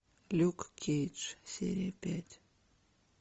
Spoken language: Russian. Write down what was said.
люк кейдж серия пять